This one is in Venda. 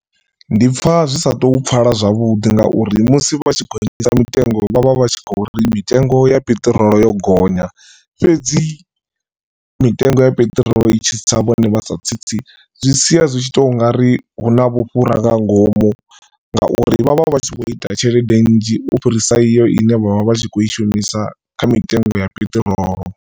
Ndi pfha zwi sa tou pfala zwavhuḓi ngauri musi vhatshi gonyisa mitengo vhavha vhatshi kho uri mitengo ya peṱirolo yo gonya fhedzi mitengo ya peṱirolo i tshi tsa vhone vha sa tsitsi zwi sia zwi tshi tou ungari huna vhufhura nga ngomu ngauri vhavha vhatshi vho ita tshelede nnzhi u fhirisa iyo ine vhavha vhatshi kho i shumisa kha mitengo ya peṱirolo.